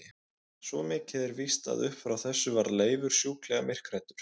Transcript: Svo mikið er víst að upp frá þessu varð Leifur sjúklega myrkhræddur.